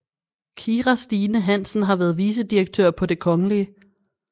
Kira Stine Hansen har været vicedirektør på Det Kgl